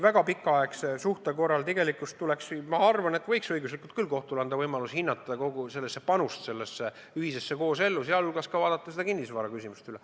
Väga pikaaegse suhte korral tegelikult tuleks, ma arvan, või võiks õiguslikult kohtule anda võimaluse hinnata kogu panust koosellu, sh vaadata see kinnisvaraküsimus üle.